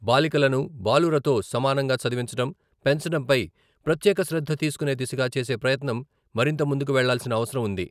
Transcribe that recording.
బాలికలను బాలురతో సమానంగా చదివించడం, పెంచడంపై ప్రత్యేక శ్రద్ధ తీసుకునే దిశగా చేసే ప్రయత్నం మరింత ముందుకు వెళ్ళాల్సిన అవసరం ఉంది.